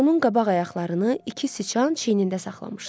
Onun qabaq ayaqlarını iki siçan çiynində saxlamışdı.